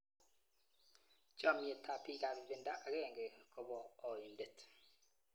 Chamnyetab bikab ibindo akenge kobo oindet.